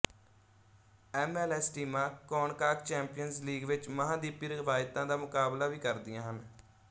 MLS ਟੀਮਾਂ ਕੌਨਕਾਕ Champions League ਵਿੱਚ ਮਹਾਂਦੀਪੀ ਰਵਾਇਤਾਂ ਦਾ ਮੁਕਾਬਲਾ ਵੀ ਕਰਦੀਆਂ ਹਨ